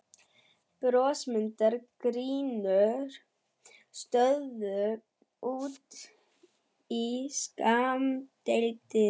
Brosmildar gínur störðu út í skammdegið.